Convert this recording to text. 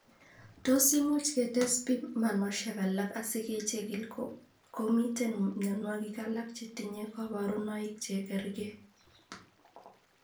Tos immuch ketes pimanosiek alak asikechigil kot ko miten myonwogik alak chetinye kaborunoik chegerge